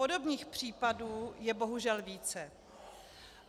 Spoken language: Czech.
Podobných případů je bohužel více.